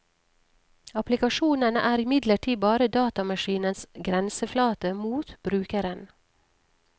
Applikasjonene er imidlertid bare datamaskinens grenseflate mot brukeren.